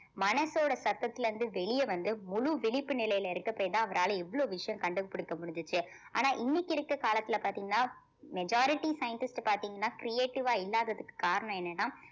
மனசோட சத்தத்துல இருந்து வெளிய வந்து முழு விழிப்பு நிலையில இருக்க போய்தான் அவரால இவ்வளவு விஷயம் கண்டுபிடிக்க முடிஞ்சுச்சு ஆனா இன்னைக்கு இருக்கற காலத்துல பாத்தீங்கன்னா majority scientist பாத்தீங்கன்னா creative ஆ இல்லாததுக்கு காரணம் என்னன்னா